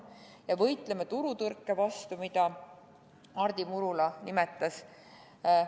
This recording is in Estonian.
Ja võitleme turutõrke vastu, mida Hardi Murula nimetas!